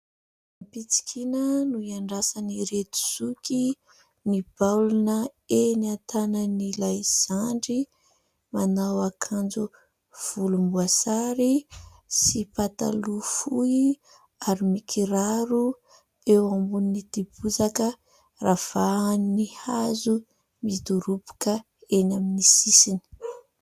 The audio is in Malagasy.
Ampitsikiana no iandrasan'ireto Zoky ny baolina eny an-tanan'ilay Zandry manao akanjo volomboasary sy pataloha fohy ary mikiraro eo ambonin'ity bozaka ravahan'ny hazo midoroboka eny amin'ny sisiny.